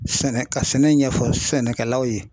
Sɛnɛ ka sɛnɛ ɲɛfɔ sɛnɛkɛlaw ye.